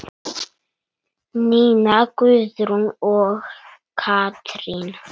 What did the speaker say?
Nína Guðrún og Katrín.